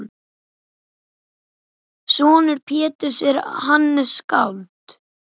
Sonur Péturs er Hannes skáld.